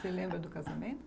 Você lembra do casamento?